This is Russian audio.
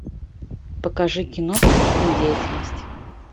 покажи кино преступная деятельность